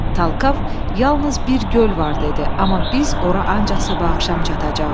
Talkov yalnız bir göl var dedi, amma biz ora ancaq sabah axşam çatacağıq.